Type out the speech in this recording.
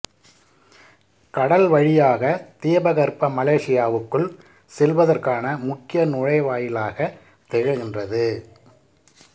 கடல் வழியாகத் தீபகற்ப மலேசியாவுக்குள் செல்வதற்கான முக்கிய நுழைவாயிலாகத் திகழ்கின்றது